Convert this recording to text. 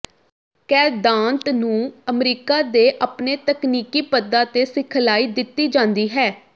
ਕੈਦਾਂਟ ਨੂੰ ਅਮਰੀਕਾ ਦੇ ਆਪਣੇ ਤਕਨੀਕੀ ਪਦਾਂ ਤੇ ਸਿਖਲਾਈ ਦਿੱਤੀ ਜਾਂਦੀ ਹੈ